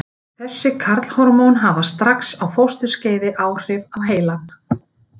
Þessi karlhormón hafa strax á fósturskeiði áhrif á heilann.